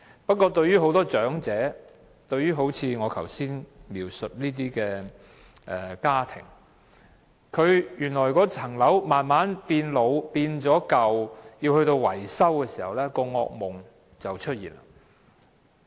不過，對於很多長者來說，正如我剛才所述的家庭，當物業慢慢老舊須進行維修時，他們的惡夢便出現。